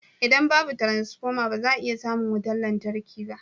Idan babu wutar lantarki ba za a iya samun wutar lantarki ba